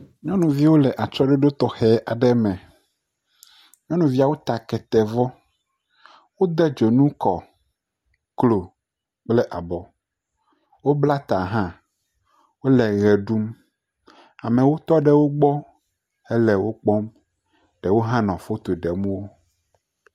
Nyɔnuviwo le atsyɔ̃ɖoɖo tɔxɛ aɖe me. Wode dzonu kɔ, klo kple abɔ. Wobla ta hã. Wole ʋe ɖum. Amewo tɔ ɖe wogbɔ hele wo kpɔm. Ɖewo hã le foto ɖem wo.